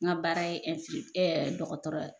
N ka baara ye dɔgɔtɔrɔ ye